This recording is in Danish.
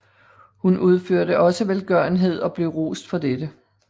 Hun udførte også velgørenhed og blev rost for dette